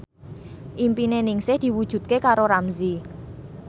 impine Ningsih diwujudke karo Ramzy